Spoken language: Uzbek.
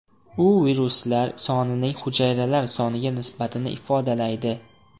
U viruslar sonining hujayralar soniga nisbatini ifodalaydi.